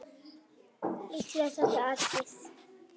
Líklega þetta atriði.